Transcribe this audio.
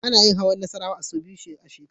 Ana yin hawan Nassarawa sau biyu a shekara.